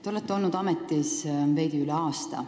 Te olete olnud ametis veidi üle aasta.